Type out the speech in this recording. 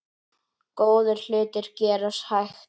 Góðir hlutir gerast hægt.